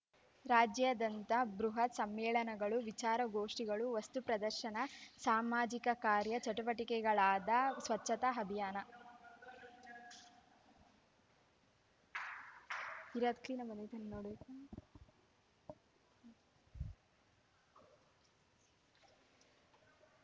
ರಾಜ್ಯಾದ್ಯಂತ ಬೃಹತ್‌ ಸಮ್ಮೇಳನಗಳು ವಿಚಾರಗೋಷ್ಠಿಗಳು ವಸ್ತು ಪ್ರದರ್ಶನ ಸಾಮಾಜಿಕ ಕಾರ್ಯ ಚಟುವಟಿಕೆಗಳಾದ ಸ್ವಚ್ಛತಾ ಅಭಿಯಾನ